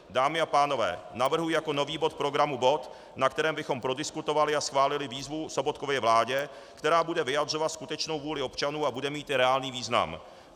Dámy a pánové, navrhuji jako nový bod programu bod, na kterém bychom prodiskutovali a schválili výzvu Sobotkově vládě, která bude vyjadřovat skutečnou vůli občanů a bude mít i reálný význam.